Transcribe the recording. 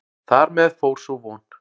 Þar með fór sú von.